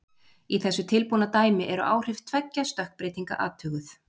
Í þessu tilbúna dæmi eru áhrif tveggja stökkbreytinga athuguð.